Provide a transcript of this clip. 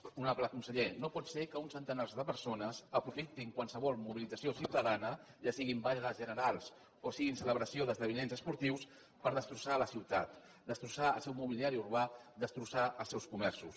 honorable conseller no pot ser que uns centenars de persones aprofitin qualsevol mobilització ciutadana ja siguin vagues generals o siguin celebracions d’esdeveniments esportius per destrossar la ciutat destrossar el seu mobiliari urbà destrossar els seus comerços